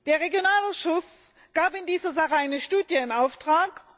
Der Regionalausschuss gab in dieser Sache eine Studie in Auftrag.